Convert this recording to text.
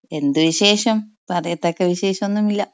എന്ത് വിശേഷം. പറയത്തക്ക വിശേഷം ഒന്നുമില്ല.